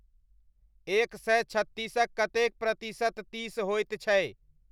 एक सय छत्तीसक कतेक प्रतिशत तीस होयत छै